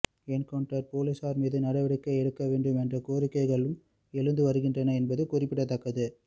encounter போலீசார் மீது நடவடிக்கை எடுக்க வேண்டும் என்ற கோரிக்கைகளும் எழுந்து வருகின்றன என்பது குறிப்பிடத்தக்கது